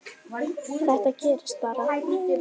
Þetta gerðist bara?!